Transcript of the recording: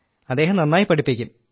അദ്ദേഹം നന്നായി പഠിപ്പിക്കും